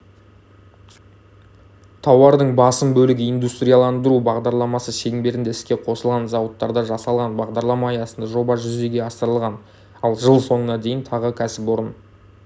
тауардың басым бөлігі индустриаландыру бағдарламасы шеңберінде іске қосылған зауыттарда жасалған бағдарлама аясында жоба жүзеге асырылған ал жыл соңына дейін тағы кәсіпорын